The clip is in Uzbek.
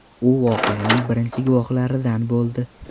U voqeaning birinchi guvohlaridan bo‘ldi.